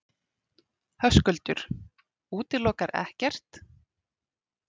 Höskuldur: Útilokar ekkert?